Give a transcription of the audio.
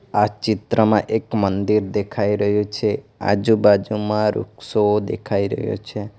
આ ચિત્રમાં એક મંદિર દેખાઈ રહ્યું છે આજુબાજુમાં રુક્ષો દેખાઈ રહ્યો છે.